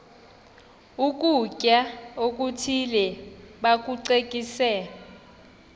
ukutya okuthile bakucekise